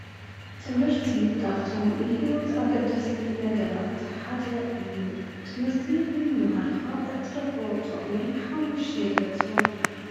ትምህርቲ ኻብቶም ንሕይወት ኣገዳስቲ ነገራት ሓደ እዩ ትምህርቲ ብምምሃርኻ እትረኽበ ጥቅሚ ሓሙሽተ የግለፁ።